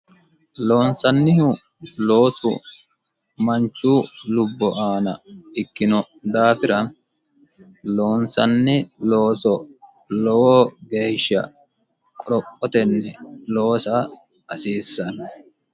loonsannihu loosu manchu lubbo aana ikkino daafira loonsanni looso lowoo geeshsha qorophotenni loosa hasiissanno